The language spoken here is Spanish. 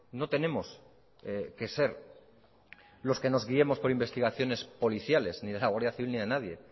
no tenemos que ser los que nos guiemos por investigaciones policiales ni de la guardia civil ni de nadie